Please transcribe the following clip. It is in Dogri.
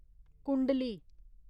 कुंडली